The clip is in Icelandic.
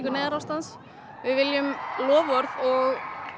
neyðarástand við viljum loforð og